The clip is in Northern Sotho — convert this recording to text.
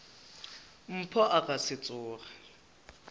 mpho a ka se tsoge